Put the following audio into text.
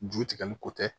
Ju tigɛli ko tɛ